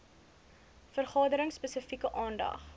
vergaderings spesifieke aandag